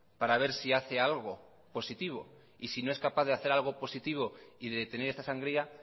para ver si hace algo positivo y si no es capaz de hacer algo positivo y detener esta sangría